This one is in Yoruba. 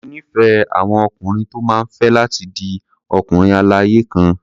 Mo nífẹ̀ẹ́ àwọn ọkùnrin tó máa fẹ́ láti di ọkùnrin-aláya-kan.